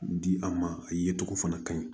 Di a ma a ye tɔgɔ fana ka ɲi